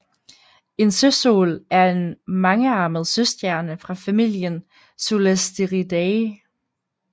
En søsol er en mangearmet søstjerne fra familien Solasteridae